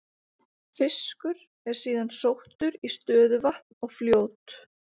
Fiskur er síðan sóttur í stöðuvatn og fljót.